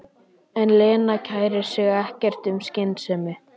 En Lena kærir sig ekkert um skynsemi.